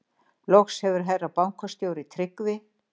Loks hefur herra bankastjóri Tryggvi